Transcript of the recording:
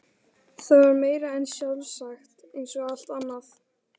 Það var meira en sjálfsagt eins og allt annað.